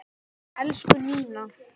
Elsku Nína.